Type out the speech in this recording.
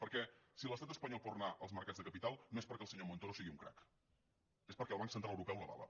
perquè si l’estat espanyol pot anar als mercats de capital no és perquè el senyor montoro sigui un crac és perquè el banc central europeu l’avala